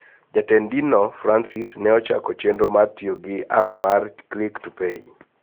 Jatend dinno, Francis, ne ochako chenro mar tiyo gi app mar " Click to Pray"